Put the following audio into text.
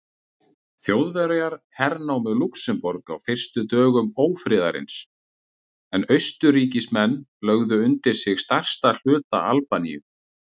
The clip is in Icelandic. Þjóðverjar hernámu Lúxemborg á fyrstu dögum ófriðarins en Austurríkismenn lögðu undir sig stærsta hluta Albaníu.